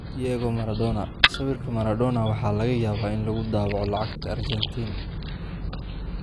Diego Maradona: Sawirka Maradona waxaa laga yaabaa in lagu daabaco lacagta Argentine